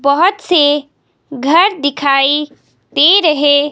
बहोत से घर दिखाई दे रहे--